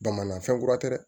Dama na fɛn kura tɛ dɛ